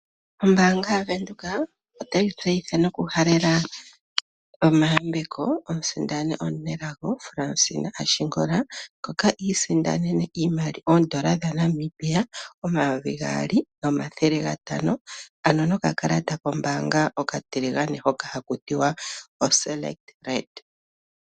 Ombaanga yaVenduka otayi tseyitha nokuhalela omayambeko omusindani omunelago Fransina Ashingola ngoka isindanene oondola dhaNamibia omayovi gaali nomathele gatano, ano nokakalata kombaanga okatiligane hoka haka ithanwa Selekt Red.